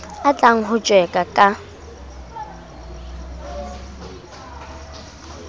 a tlang ho tjeka ka